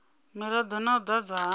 mirado na u ḓadzwa ha